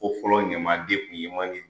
Ko fɔlɔ ɲamaden tun ye